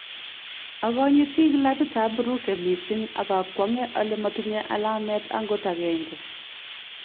Akanyiti klabut ab Brugge missing ak a kwong'e ale matinye alamet angot agenge